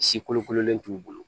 Si kolokololen t'u bolo